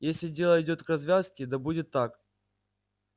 если дело идёт к развязке да будет так